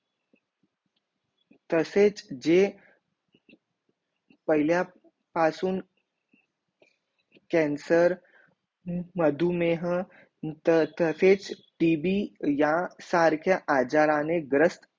तसेच जे पाहिलीय पासून कॅन्सर मधुमेह तसेच ती बी या सारख्या आजाराने ग्रस्त